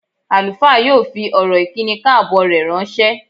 Àlùfáà yóò fi ọ̀rọ̀ ìkíni káàbọ̀ rẹ̀ ránṣẹ́.